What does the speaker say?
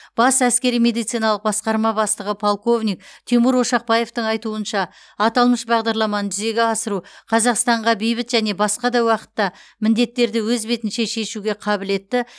бас әскери медициналық басқарма бастығы полковник тимур ошақбаевтың айтуынша аталмыш бағдарламаны жүзеге асыру қазақстанға бейбіт және басқа да уақытта міндеттерді өз бетінше шешуге қабілетті